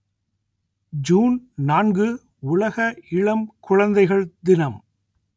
June நான்கு உலக இளம் குழந்தைகள் தினம்